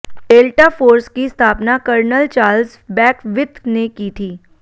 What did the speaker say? delta force की स्थापना colonel Charles Beckwith ने की थी